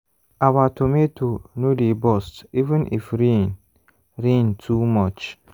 our tomato no dey burst even if rain rain too much.